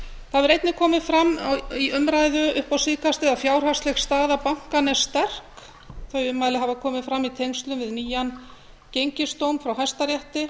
það hefur einnig komið fram í umræðu upp á síðkastið að fjárhagsleg staða bankanna er sterk þau ummæli hafa komið fram í tengslum við nýjan gengisdóm frá hæstarétti